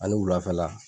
Ani wulafɛla